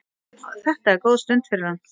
Þetta er góð stund fyrir hann.